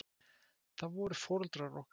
Það voru foreldrar okkar.